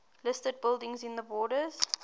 listed buildings in the borders